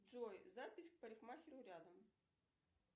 джой запись к парикмахеру рядом